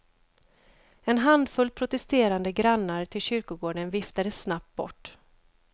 En handfull protesterande grannar till kyrkogården viftades snabbt bort.